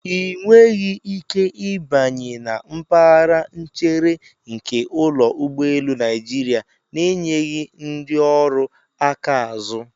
Ị nweghị ike ịbanye na mpaghara nchere nke ụlọ ụgbọelu Naịjirịa na-enyeghị ndị ọrụ aka azụ.